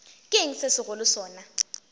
ke eng se segolo sona